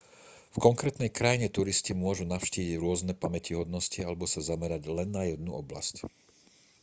v konkrétnej krajine turisti môžu navštíviť rôzne pamätihodnosti alebo sa zamerať len na jednu oblasť